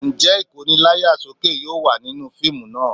Ǹjẹ́ Ìkóni láyà sókè yóò wà nínú fíìmù náà?